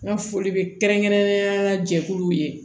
N ka foli bɛ kɛrɛnkɛrɛnnenya jɛkuluw ye